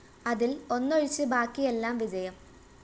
അതില്‍ ഒന്നൊഴിച്ച് ബാക്കിയെല്ലാം വിജയം